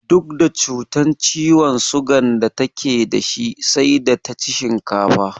Duk da cutar ciwon sugan da take da shi sai da ta ci shinkafa